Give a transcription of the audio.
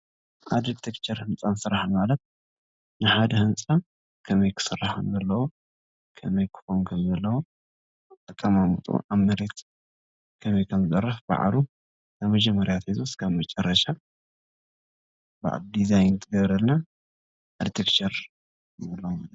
ኣርክቴክቸርን ህንፃ ስራሕን ማለት ንሓደ ህንፃ ከመይ ክስራሕ ከምዘለዎ፣ ከመይ ክኸውን ከምዘለዎ ኣቀማምጥኡ ኣብ መሬት ከመይ ከምዝዓርፍ ባዕሉ መጀመርያ ጀሚሩ እስካብ መጨረሻ ዲዛይን ትገብረሉ ኣርክቴክቸር ንብሎ ማለት እዩ፡፡